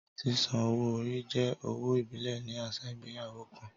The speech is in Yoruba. Sísan owó orí jẹ́ owó ìbílẹ̀ ní àṣà ìgbéyàwó kan